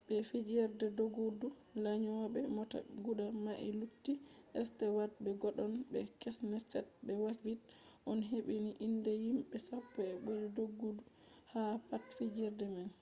be fijerde doggudu lanyoɓe mota guda nai lutti stewat be godon be kenset be havik on hebbini inde himɓe sappo je ɓuri doggudu ha pat fijerde man